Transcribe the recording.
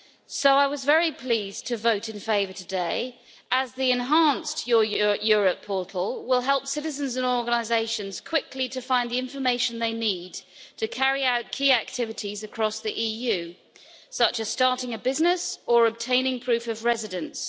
So I was very pleased to vote in favour today as the enhanced Your Europe portal will help citizens and organisations quickly find the information they need to carry out key activities across the EU, such as starting a business or obtaining proof of residence.